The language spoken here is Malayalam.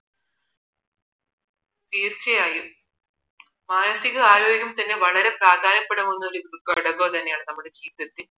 തീർച്ചയായും മാനസികാരോഗ്യ തന്നെ വളരെ പ്രാധാന്യപ്പെടുന്ന ഒരു ഘടകം തന്നെയാണ് നമ്മുടെ ജീവിതത്തിൽ